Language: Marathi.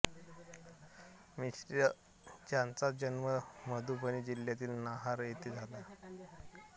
मिश्र ज्यांचा जन्म मधुबनी जिल्ह्यातील नाहर येथे झाला होता